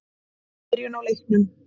Fín byrjun á leiknum.